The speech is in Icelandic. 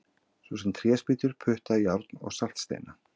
Svo sem tréspýtur, putta, járn og saltsteina!